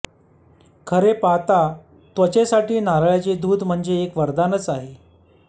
खरे पाहता त्वचेसाठी नारळाचे दूध म्हणजे एक वरदानच आहे